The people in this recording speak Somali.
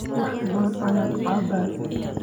wax badan ayaan cabbay